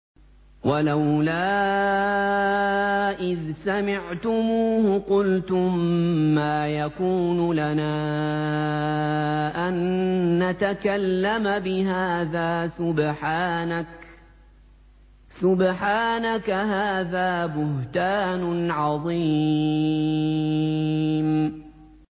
وَلَوْلَا إِذْ سَمِعْتُمُوهُ قُلْتُم مَّا يَكُونُ لَنَا أَن نَّتَكَلَّمَ بِهَٰذَا سُبْحَانَكَ هَٰذَا بُهْتَانٌ عَظِيمٌ